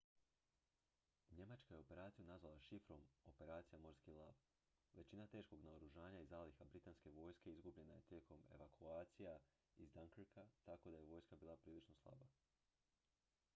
"njemačka je operaciju nazvala šifrom "operacija morski lav"". većina teškog naoružanja i zaliha britanske vojske izgubljena je tijekom evakucija iz dunkirka tako da je vojska bila prilično slaba.